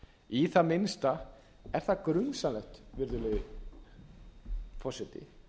í það minnsta er það grunsamlegt virðulegi forseti